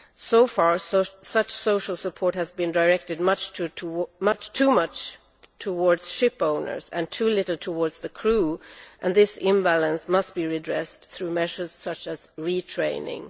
So far, such social support has been directed too much towards ship owners and too little towards the crew, and this imbalance must be redressed through measures such as retraining.